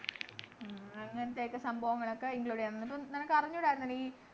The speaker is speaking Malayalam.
ആഹ് അങ്ങനെത്തെ ഒക്കെ സംഭവങ്ങളൊക്കെ include ചെയ്യണം ന്നിപ്പം നമ്മക്കറിഞ്ഞൂടായിരുന്നു ഈ